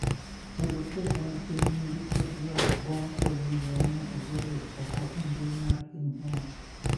Jalup jatend piny ni kod yuak bong` kowinjo ne ogole oko e mbui mar piny owacho